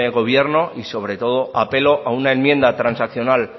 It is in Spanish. gobierno y sobre todo apelo a una enmienda transaccional